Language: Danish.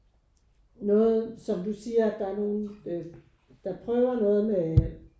Noget som du siger at der er nogen øh der prøver noget med